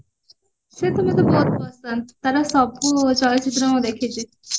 ସେତ ମତେ ବହୁତ ପସନ୍ଦ ତାର ସବୁ ଚଳଚିତ୍ର ମୁଁ ଦେଖିଚି